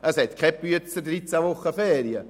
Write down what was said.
Kein «Büetzer» hat 13 Wochen Ferien.